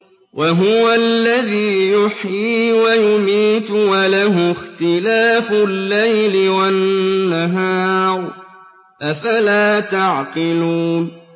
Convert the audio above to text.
وَهُوَ الَّذِي يُحْيِي وَيُمِيتُ وَلَهُ اخْتِلَافُ اللَّيْلِ وَالنَّهَارِ ۚ أَفَلَا تَعْقِلُونَ